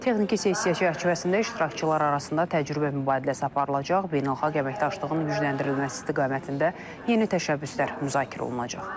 Texniki sessiya çərçivəsində iştirakçılar arasında təcrübə mübadiləsi aparılacaq, beynəlxalq əməkdaşlığın gücləndirilməsi istiqamətində yeni təşəbbüslər müzakirə olunacaq.